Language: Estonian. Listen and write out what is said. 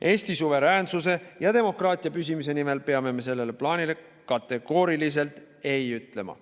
Eesti suveräänsuse ja demokraatia püsimise nimel peame me sellele plaanile kategooriliselt ei ütlema.